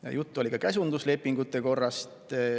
Ja juttu oli ka käsunduslepingute korrast.